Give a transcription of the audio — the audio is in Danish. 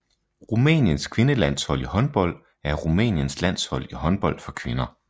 Rumæniens kvindelandshold i håndbold er Rumæniens landshold i håndbold for kvinder